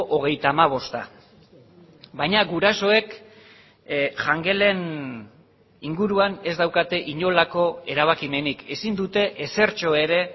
hogeita hamabosta baina gurasoek jangelen inguruan ez daukate inolako erabakimenik ezin dute ezertxo ere